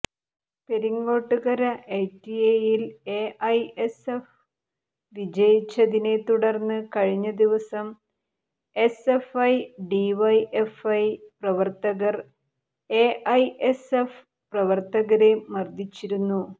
പെരിങ്ങോട്ടുകര ഐറ്റിഐയിൽ എഐഎസ്എഫ് വിജയിച്ചതിനെ തുടർന്ന് കഴിഞ്ഞ ദിവസം എസ്എഫ്ഐ ഡിവൈഎഫ്ഐ പ്രവർത്തകർ എഐഎസ്എഫ് പ്രവർത്തകരെ മർദ്ദിച്ചിരുന്നു